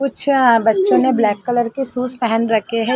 कुछ बच्चों ने ब्लैक कलर के शूज पहन रखे है।